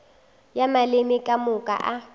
ya maleme ka moka a